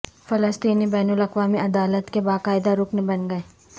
فلسطینی بین الاقوامی عدالت کے باقاعدہ رکن بن گئے